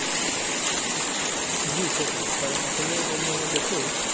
জি সেটাই কারণ আসলে অন্যান্য দেশে